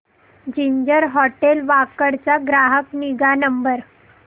ginger hotel Wakad चा ग्राहक निगा नंबर